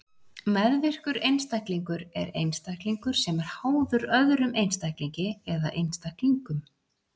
Meðvirkur einstaklingur er einstaklingur sem er háður öðrum einstaklingi eða einstaklingum.